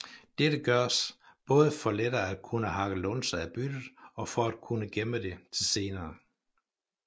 Dette gøres både for lettere at kunne hakke lunser af byttet og for at kunne gemme det til senere